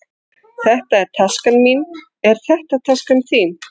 Þetta er taskan mín. Er þetta taskan þín?